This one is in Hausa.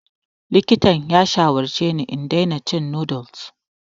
Likitan ya shawarce ni da in daina cin noodles.